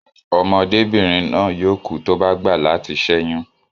Ọmọdébìrin náà yóò kú tí ó bá gbà latí sẹ́yún